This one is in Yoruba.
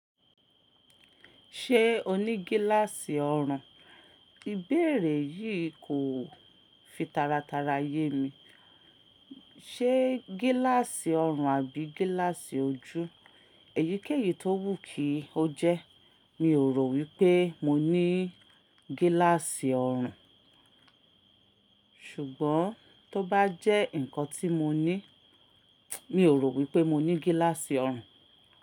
Ṣé o ní gíláàsì ọrùn? Ìbéèrè yìí kò fi taratara yé mi. Ṣé gíláàsì ọrùn àbí gíláàsì ojú? Èyíkéyìí tó wù kí ó jẹ́. Mi ò rò wípé mo ní gíláàsì ọrùn. Ṣùgbọ́n tó bá jẹ́ ǹkan tí mo ní, mi ò rò wípé mo ní gíláàsì ọrùn.